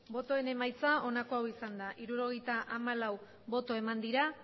botoen emaitza onako ogisanda hirurogeita hamalau boto eman dira